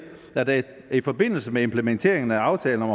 at der i forbindelse med implementeringen af aftalen om